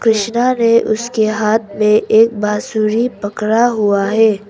कृष्ण ने उसके हाथ में एक बांसुरी पकड़ा हुआ है।